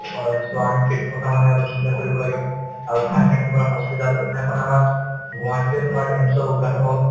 হয়, so আমি সেইটো কথা মানে অলপ চিন্তা কৰিব লাগে আৰু ঠায়ে ঠায়ে তোমাৰ hospital সেইদিনাখন আমাৰ গুৱাহাটীতে তোমাৰ AIMS ৰ উৎঘাটন হল